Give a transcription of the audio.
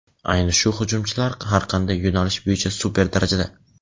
Ayni shu hujumchilar har qanday yo‘nalish bo‘yicha super darajada.